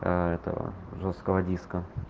этого жёсткого диска